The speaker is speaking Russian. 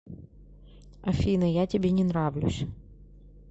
афина я тебе не нравлюсь